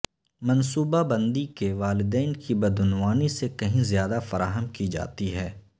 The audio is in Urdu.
منصوبہ بندی کے والدین کی بدعنوانی سے کہیں زیادہ فراہم کی جاتی ہے